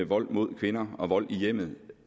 vold mod kvinder og vold i hjemmet